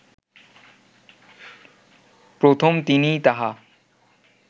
প্রথম তিনিই তাহা